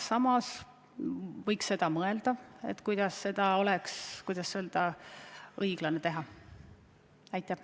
Samas võiks mõelda, et kui seda teha, siis kuidas oleks õiglane seda teha.